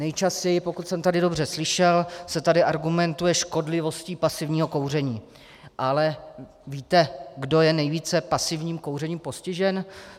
Nejčastěji, pokud jsem tady dobře slyšel, se tady argumentuje škodlivostí pasivního kouření, ale víte, kdo je nejvíce pasivním kouřením postižen?